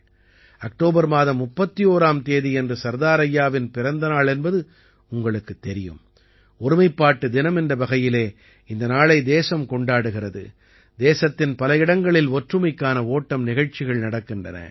October மாதம் 31ஆம் தேதியன்று சர்தார் ஐயாவின் பிறந்த நாள் என்பது உங்களுக்குத் தெரியும் ஒருமைப்பாட்டு தினம் என்ற வகையிலே இந்த நாளை தேசம் கொண்டாடுகிறது தேசத்தின் பல இடங்களில் ஒற்றுமைக்கான ஓட்டம் நிகழ்ச்சிகள் நடக்கின்றன